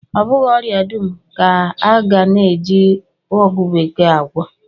Ọ bụghị ọria dum ka a na-eji ọgwụ bekee agwọ